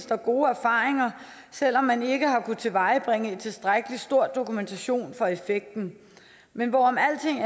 der gode erfaringer selv om man ikke har kunnet tilvejebringe en tilstrækkelig stor dokumentation af effekten men hvorom alting